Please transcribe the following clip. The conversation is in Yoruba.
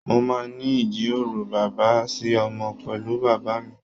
Mo máa n ní ijiroro bàbá sí ọmọ pẹlú bàbá mí.